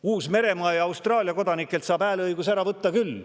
Uus-Meremaa ja Austraalia kodanikelt saab hääleõiguse ära võtta küll.